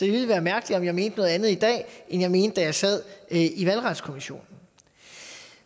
ville være mærkeligt om jeg mente noget andet i dag end jeg mente da jeg sad i valgretskommissionen